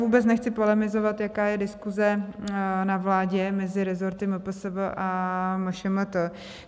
Vůbec nechci polemizovat, jaká je diskuse na vládě mezi resorty MPSV a MŠMT.